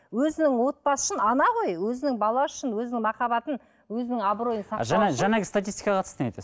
өзінің отбасы үшін ана ғой өзінің баласы үшін өзінің махаббатын өзінің абыройын жаңа жаңағы статистика қатысты не айтасыз